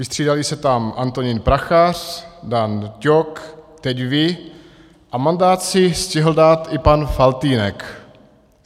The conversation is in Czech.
Vystřídali se tam Antonín Prachař, Dan Ťok, teď vy a mandát si stihl dát i pan Faltýnek.